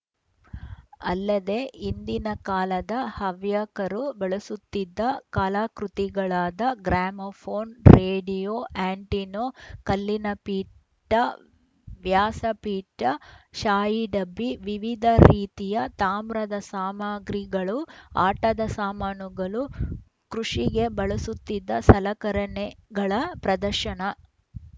ಅಲ್ಲದೆ ಹಿಂದಿನ ಕಾಲದ ಹವ್ಯಕರು ಬಳಸುತ್ತಿದ್ದ ಕಲಾಕೃತಿಗಳಾದ ಗ್ರಾಮೋಫೋನ್‌ ರೇಡಿಯೋ ಆಂಟಿನೋ ಕಲ್ಲಿನ ಪೀಠ ವ್ಯಾಸ ಪೀಠ ಶಾಯಿ ಡಬ್ಬಿ ವಿವಿಧ ರೀತಿಯ ತಾಮ್ರದ ಸಾಮಗ್ರಿಗಳು ಆಟದ ಸಾಮಾನುಗಳು ಕೃಷಿಗೆ ಬಳಸುತ್ತಿದ್ದ ಸಲಕರಣೆಗಳ ಪ್ರದರ್ಶನ